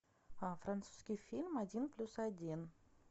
французский фильм один плюс один